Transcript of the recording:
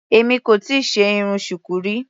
Èmi kò tíì ṣe irun Shuku rí.